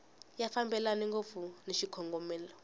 ya fambelani ngopfu ni xikongomelo